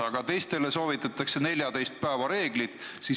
Aga teistele soovitatakse 14 päeva reeglit.